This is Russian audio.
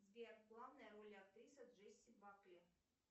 сбер главная роль актрисы джесси бакли